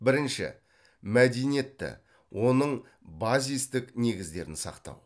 бірінші мәдениетті оның базистік негіздерін сақтау